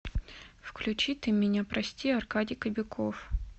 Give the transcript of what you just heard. включи ты меня прости аркадий кобяков